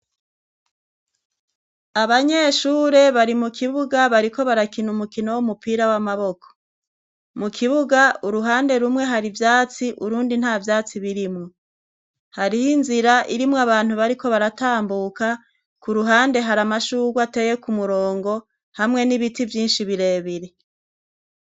Abanyeshure bari mu kibuga bariko barakina umukino w'umupira w'amaboko. Mu kibuga uruhande rumwe hari ivyatsi urundi nta vyatsi birimwo, hariho inzira irimwo abantu bariko baratambuka, ku ruhande hari amashurwe ateye ku murongo hamwe n'ibiti vyinshi birebire.